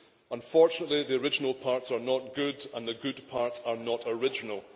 Unfortunately, the original parts are not good and the good parts are not original.